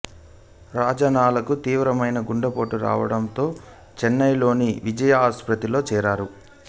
రాజనాలకు తీవ్రమైన గుండెపోటు రావడంతో చెన్నైలోని విజయ ఆసుపత్రిలో చేరారు